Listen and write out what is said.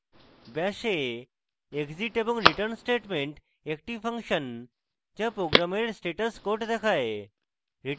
bash a exit এবং return statements একটি function যা program status code দেয়